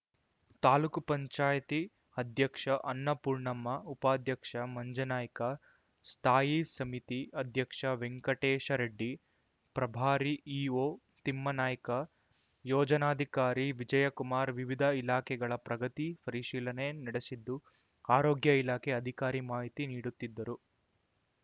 ತಾಲೂಕು ಪಂಚಾಯತಿ ಅಧ್ಯಕ್ಷ ಅನ್ನಪೂರ್ಣಮ್ಮ ಉಪಾಧ್ಯಕ್ಷ ಮಂಜನಾಯ್ಕ ಸ್ಥಾಯಿ ಸಮಿತಿ ಅಧ್ಯಕ್ಷ ವೆಂಕಟೇಶ ರೆಡ್ಡಿ ಪ್ರಭಾರಿ ಇಓ ತಿಮ್ಮನಾಯ್ಕ ಯೋಜನಾಧಿಕಾರಿ ವಿಜಯಕುಮಾರ್ ವಿವಿಧ ಇಲಾಖೆಗಳ ಪ್ರಗತಿ ಪರಿಶೀಲನೆ ನಡೆಸಿದ್ದು ಆರೋಗ್ಯ ಇಲಾಖೆ ಅಧಿಕಾರಿ ಮಾಹಿತಿ ನೀಡುತ್ತಿದ್ದರು